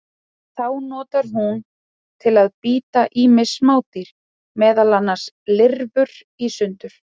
Þá notar hún til að bíta ýmis smádýr, meðal annars lirfur, í sundur.